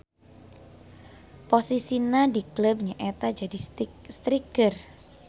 Posisina di kleub nya eta jadi striker.